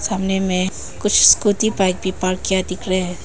सामने में कुछ स्कूटी बाइक भी पार्क किया दिख रहे है।